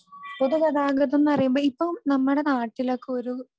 പൊതുഗതാഗതം എന്ന് പറയുമ്പോൾ ഇപ്പം നമ്മുടെ നാട്ടിലൊക്കെ ഒരു